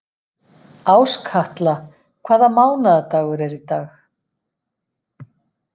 Áskatla, hvaða mánaðardagur er í dag?